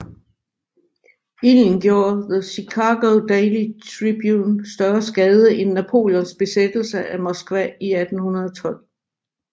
Ilden gjorde The Chicago Daily Tribune større skade end Napoleons besættelse af Moskva i 1812